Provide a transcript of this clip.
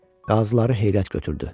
Qazıları heyrət götürdü.